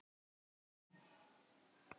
Gaman af því.